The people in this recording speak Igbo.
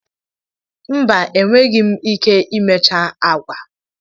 Mba, enweghị m ike imecha agwa.